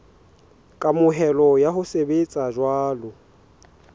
kamohelo ya ho sebetsa jwalo